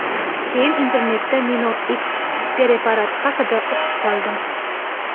Keyin internetda MinoX preparati haqida o‘qib qoldim.